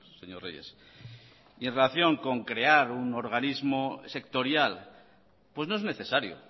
señor reyes y en relación con crear un organismo sectorial pues no es necesario